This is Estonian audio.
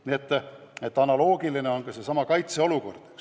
See analoogia kehtib ka kaitseolukorra puhul.